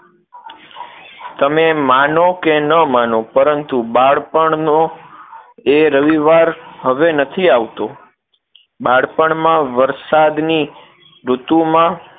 તમે માનો કે ન માનો પરંતુ બાળપણનો એ રવિવાર હવે નથી આવતો બાળપણમાં વરસાદની ઋતુમાં